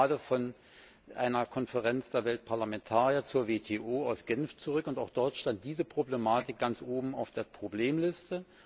Ich komme gerade von einer Konferenz der Weltparlamentarier zur WTO aus Genf zurück und auch dort stand diese Problematik ganz oben auf der Problemliste.